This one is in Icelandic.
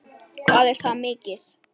Hvað er það mikið?